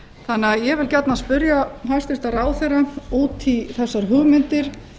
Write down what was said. þannig að ég vil gjarnan spyrja hæstvirtan ráðherra út í þessar hugmyndir